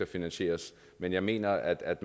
finansieres men jeg mener at